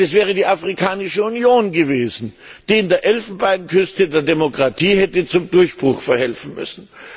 Denn es wäre die Afrikanische Union gewesen, die in der Elfenbeinküste der Demokratie hätte zum Durchbruch verhelfen müssen.